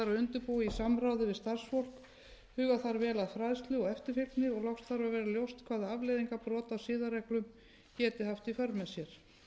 undirbúa í samráði við starfsfólk huga þarf vel að fræðslu og eftirfylgni og loks þarf að vera ljóst hvaða afleiðingar brot á siðareglum geti haft í för með sér